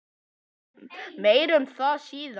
Meir um það síðar.